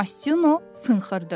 Mastino fınxırdı.